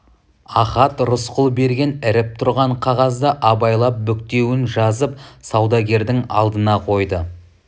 ахат рысқұл берген іріп тұрған қағазды абайлап бүктеуін жазып саудагердің алдына қойды